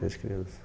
Desde criança.